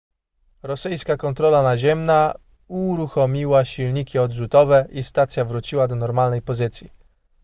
rosyjska kontrola naziemna uruchomiła silniki odrzutowe i stacja wróciła do normalnej pozycji